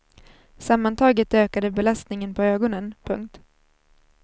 Sammantaget ökar det belastningen på ögonen. punkt